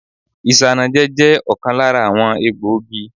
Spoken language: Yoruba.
Isanaje je ọ̀kan lára àwọn egbògi.